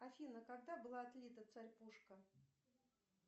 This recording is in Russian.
афина когда была отлита царь пушка